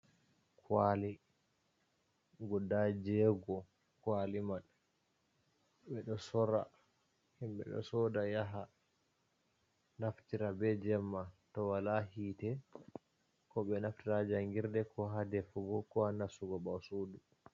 Kwali guda jego. kwali man himɓe ɗo soda yaha naftira be jemma to wala hite. Ko ɓe naftira jangirde ko ha defugo, ko ha nastugo ɓasudu.